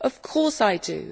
Of course I do.